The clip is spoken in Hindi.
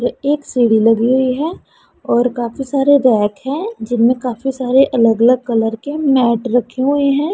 एक सीढ़ी लगी हुई है और काफी सारे रैक हैं जिनमें काफी सारे अलग-अलग कलर के मैट रखे हुए हैं।